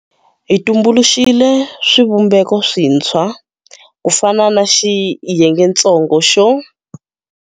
Hi tumbuluxile swivumbeko swintshwa, ku fana na Xiyengetsongo xo.